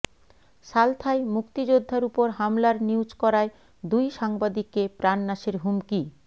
সালথায় মুক্তিযোদ্ধার উপর হামলার নিউজ করায় দুই সাংবাদিককে প্রাণনাশের হুমকি